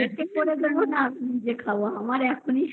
আমি মেয়েকে করে খাওয়াবো নাকি আমি নিজে খাবো আমার